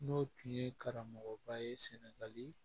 N'o tun ye karamɔgɔba ye sɛnɛgali